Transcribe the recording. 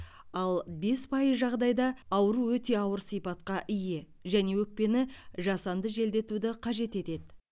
ал бес пайыз жағдайда ауру өте ауыр сипатқа ие және өкпені жасанды желдетуді қажет етеді